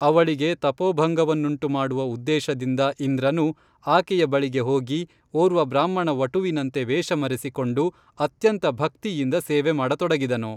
ಅವಳಿಗೆ ತಪೋಭಂಗವನ್ನುಂಟು ಮಾಡುವ ಉದ್ದೇಶದಿಂದ ಇಂದ್ರನು ಆಕೆಯ ಬಳಿಗೆ ಹೋಗಿ ಓರ್ವ ಬ್ರಾಹ್ಮಣ ವಟುವಿನಂತೆ ವೇಷ ಮರೆಸಿಕೊಂಡು ಅತ್ಯಂತ ಭಕ್ತಿಯಿಂದ ಸೇವೆ ಮಾಡತೊಡಗಿದನು